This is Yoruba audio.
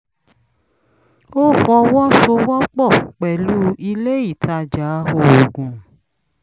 ó fọwọ́ sowọ́ pọ̀ pẹ̀lú ilé ìtajà oògùn